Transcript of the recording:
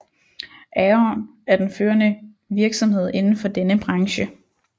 Aon er den førende virksomhed indenfor denne branche